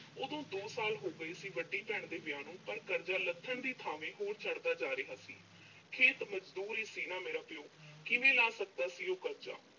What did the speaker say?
ਉਦੋਂ ਦੋ ਸਾਲ ਹੋ ਗਏ ਸੀ, ਵੱਡੀ ਭੈਣ ਦੇ ਵਿਆਹ ਨੂੰ, ਪਰ ਕਰਜ਼ਾ ਲੱਥਣ ਦੀ ਥਾਵੇਂ, ਹੋਰ ਚੜ੍ਹਦਾ ਜਾ ਰਿਹਾ ਸੀ। ਹੈ ਤਾਂ ਮਜ਼ਦੂਰ ਹੀ ਸੀ ਨਾ ਅਹ ਮੇਰਾ ਪਿਓ। ਕਿਵੇਂ ਲਾਹ ਸਕਦਾ ਸੀ ਉਹ ਕਰਜ਼ਾ?